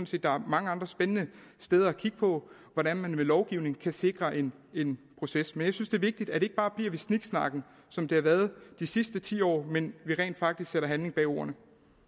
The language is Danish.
set der er mange andre spændende steder at kigge på hvordan man med lovgivning kan sikre en en proces men jeg synes det er vigtigt at det ikke bare bliver ved sniksnakken som det har været de sidste ti år men at vi rent faktisk sætter handling bag ordene